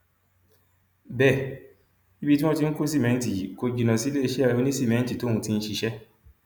bẹẹ ibi tí wọn ti ń kó sìmẹǹtì yìí kò jìnnà síléeṣẹ onísìmẹǹtì tóun ti ń ṣiṣẹ